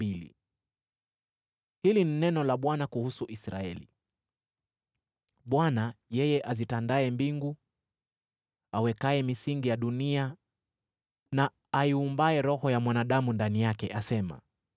Hili ni neno la Bwana kuhusu Israeli. Bwana , yeye azitandaye mbingu, awekaye misingi ya dunia na aiumbaye roho ya mwanadamu ndani yake, asema: